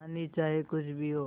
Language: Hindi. कहानी चाहे कुछ भी हो